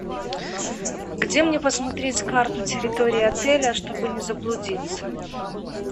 где мне посмотреть карту территории отеля чтобы не заблудиться